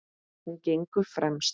Hún gengur fremst.